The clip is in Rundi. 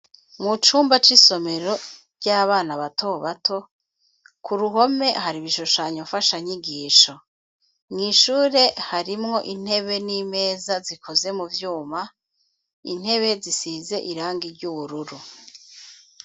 Mucumba c'isomero ry'abana bato bato, kuruhome haribishushanyo nfata nyigisho, mw'ishure harimwo intebe n'imeza zikoze muvyuma , intebe zisize irangi ry'ubururu.